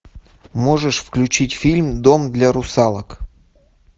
можешь включить фильм дом для русалок